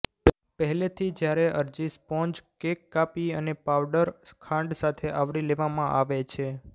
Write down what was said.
પહેલેથી જ્યારે અરજી સ્પોન્જ કેક કાપી અને પાઉડર ખાંડ સાથે આવરી લેવામાં આવે છે